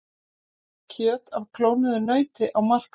Kjöt af klónuðu nauti á markað